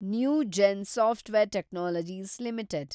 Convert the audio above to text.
Newgen software technologies limited